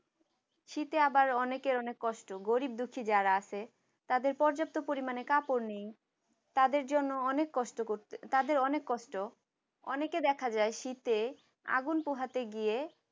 শীতে আবার অনেকের অনেক কষ্ট গরীব দুঃখী যারা আছে তাদের পর্যাপ্ত পরিমাণে কাপড় নেই তাদের জন্য অনেক কষ্ট করতে তাদের অনেক কষ্ট অনেকে দেখা যায় শীতে আগুন পোহাতে গিয়ে